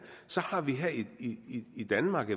i danmark